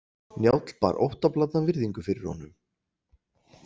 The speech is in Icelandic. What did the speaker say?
Njáll bar óttablandna virðingu fyrir honum.